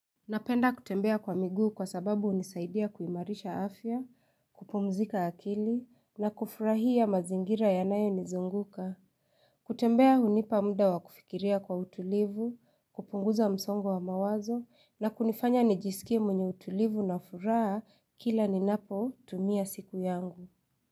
Napenda kutembea kwa miguu kwa sababu hunisaidia kuimarisha afya, kupumzika akili, na kufurahia mazingira yanayo nizunguka. Kutembea hunipa muda wa kufikiria kwa utulivu, kupunguza msongo wa mawazo, na kunifanya nijisikie mwenye utulivu na furaha kila ninapo tumia siku yangu.